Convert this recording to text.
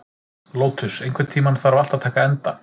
Lótus, einhvern tímann þarf allt að taka enda.